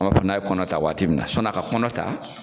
O n'a ye kɔnɔ ta waati min na sɔni a ka kɔnɔ ta